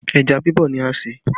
Ẹja bibọ̀ ni a ṣe